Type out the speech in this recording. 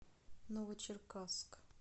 новочеркасск